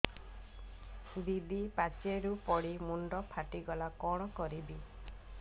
ଦିଦି ପାଚେରୀରୁ ପଡି ମୁଣ୍ଡ ଫାଟିଗଲା କଣ କରିବି